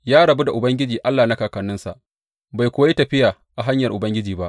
Ya rabu da Ubangiji Allah na kakanninsa, bai kuwa yi tafiya a hanyar Ubangiji ba.